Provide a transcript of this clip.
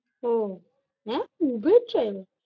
ও আহ